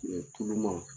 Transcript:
tulu ma